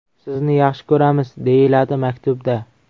Sizni yaxshi ko‘ramiz”, deyiladi maktubda.